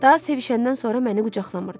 Daha sevişəndən sonra məni qucaqlamırdı.